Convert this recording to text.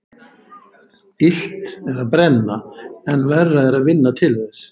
Illt er að brenna en verra er að vinna til þess.